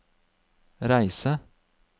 reise